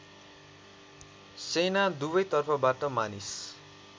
सेना दुवैतर्फबाट मानिस